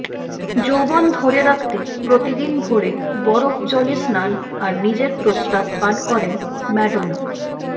যৌবন ধরে রাখতে প্রতিদিন ভোরে বরফজলে স্নান আর নিজের প্রস্রাব পান করেন ম্যাডোনা